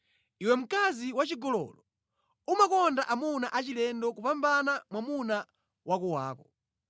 “ ‘Iwe mkazi wachigololo! Umakonda amuna achilendo kupambana mwamuna wakowako!